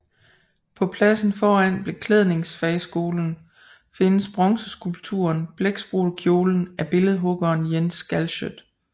På pladsen foran Beklædningsfagskolen findes bronzeskulpturen Blækspruttekjolen af billedhuggeren Jens Galschiøt